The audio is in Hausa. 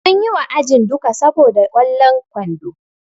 Sun yi wa ajin duka saboda kwallon kwando.